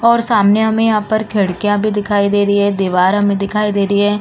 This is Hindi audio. और सामने हमे यहाँ पर खिड़कियाँ भी दिखाई दे रही हैं। दीवार हमे दिखाई दे रही है।